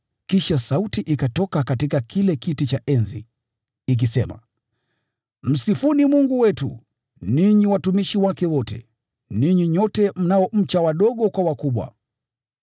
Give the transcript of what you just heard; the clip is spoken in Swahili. Kisha sauti ikatoka katika kile kiti cha enzi, ikisema: “Msifuni Mungu wetu, ninyi watumishi wake wote, ninyi nyote mnaomcha, wadogo kwa wakubwa!”